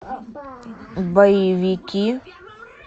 боевики